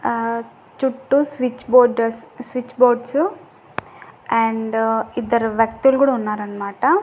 ఆ చుట్టూ switch borders switch boards and ఇద్దరు వ్యక్తులు గుడ ఉన్నారన్నమాట.